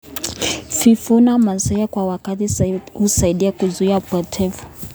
Kuvuna mazao kwa wakati sahihi husaidia kuzuia upotevu.